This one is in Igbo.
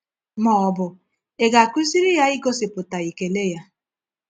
Ma ọ bụ ị ga-akụziri ya igosipụta ekele ya?